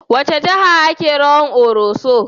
A wace jiha ake rawan Koroso?